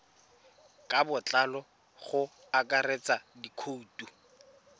ka botlalo go akaretsa dikhoutu